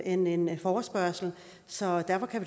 end en forespørgsel så derfor kan